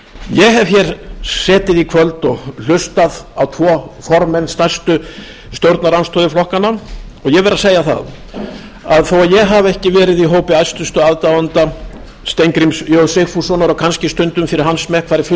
ég hef hér setið í kvöld og hlustað á tvo formenn stærstu stjórnarandstöðuflokkanna og ég verð að segja það að þó að ég hafi ekki verið í hópi æstustu aðdáenda steingríms j sigfússonar og kannski stundum fyrir hans smekk farið fulldult